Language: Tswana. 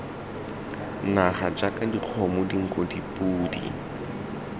naga jaaka dikgomo dinku dipodi